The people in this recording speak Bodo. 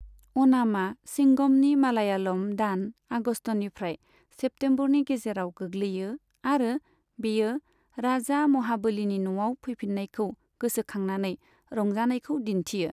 अ'णामा चिंगमनि मालयालम दान, आगस्तनिफ्राय सेप्तेम्बरनि गेजेराव गोग्लैयो आरो बेयो राजा महाबलीनि न'आव फैफिन्नायखौ गोसोखांनानै रंजानायखौ दिन्थियो।